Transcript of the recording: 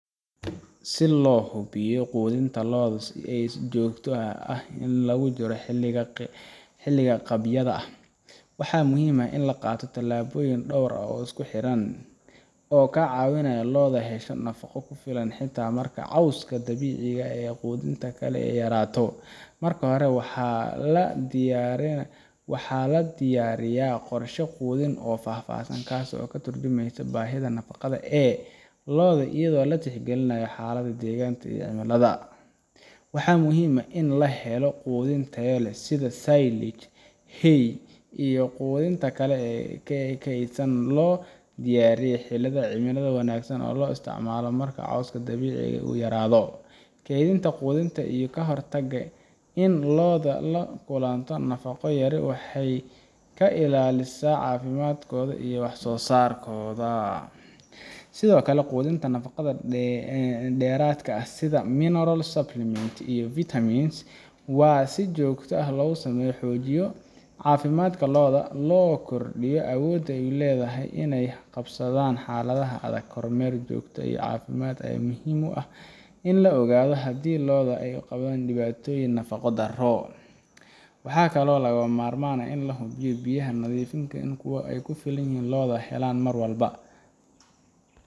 Si loo hubiyo quudinta lo’da ee joogtada ah inta lagu jiro xilliga qabyada ah, waxaa muhiim ah in la qaato tallaabooyin dhowr ah oo isku xidhan oo ka caawinaya in lo’da hesho nafaqo ku filan xitaa marka cawska dabiiciga ah ama quudinta kale ay yaraato. Marka hore, waa in la diyaariyaa qorshe quudin oo faahfaahsan kaas oo ka tarjumaya baahida nafaqada ee lo’da iyadoo la tixgelinayo xaaladda deegaanka iyo cimilada. Waxaa muhiim ah in la helo quudin tayo leh sida silage, hay, iyo quudinta kale ee kaydsan oo la diyaariyay xilliyada cimilada wanaagsan si loo isticmaalo marka cawska dabiiciga ah uu yaraado. Kaydintan quudinta ayaa ka hortagta in lo’da ay la kulanto nafaqo yari waxayna ka ilaalisaa caafimaadkooda iyo wax soo saarkooda. Sidoo kale, quudinta nafaqada dheeraadka ah sida mineral supplements iyo vitamins waa in si joogto ah loo siiyo si loo xoojiyo caafimaadka lo’da loona kordhiyo awoodda ay u leeyihiin inay la qabsadaan xaaladaha adag. Kormeer joogto ah oo caafimaad ayaa muhiim u ah in la ogaado haddii lo’da ay qabaan dhibaatooyin nafaqo darro ah. Waxaa kaloo lagama maarmaan ah in la hubiyo in biyaha nadiifka ah iyo kuwa ku filan ay lo’da helaan mar walba,